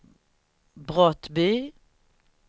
Brottby